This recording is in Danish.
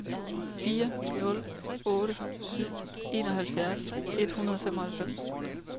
fire nul otte syv enoghalvfjerds et hundrede og femoghalvfems